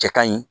Cɛ ka ɲi